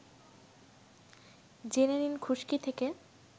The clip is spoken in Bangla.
জেনে নিন খুশকি থেকে